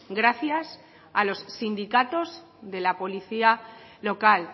gracias a los sindicatos de la policía local